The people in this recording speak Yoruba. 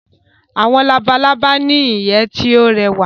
Awọn Labalaba ni iye ti yoo rẹwa